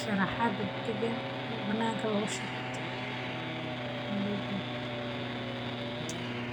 soo sarta malabka marka aad.